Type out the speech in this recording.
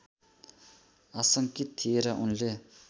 आशङ्कित थिए र उनले